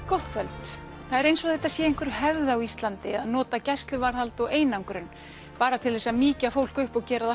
gott kvöld það er eins og þetta sé einhver hefð á Íslandi að nota gæsluvarðhald og einangrun bara til þess að mýkja fólk upp og gera það